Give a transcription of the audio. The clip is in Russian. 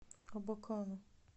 абакану